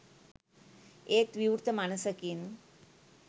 ඒත් විවෘත මනසකින්